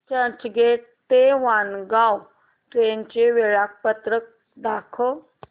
चर्चगेट ते वाणगांव ट्रेन चे वेळापत्रक दाखव